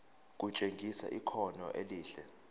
kutshengisa ikhono elihle